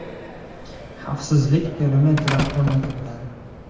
Xavfsizlik perimetri o‘rnatilgan.